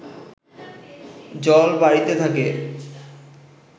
জল বাড়িতে থাকে